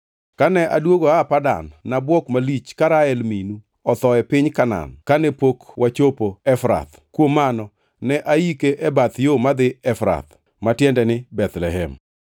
Kane aduogo aa Padan, nabuok malich ka Rael minu otho e piny Kanaan kane pok wachopo Efrath. Kuom mano ne aike e bath yo madhi Efrath” (ma tiende ni Bethlehem).